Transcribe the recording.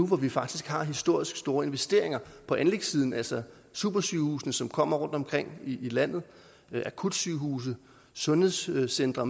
hvor vi faktisk har historisk store investeringer på anlægssiden altså supersygehusene som kommer rundtomkring i landet akutsygehuse sundhedscentre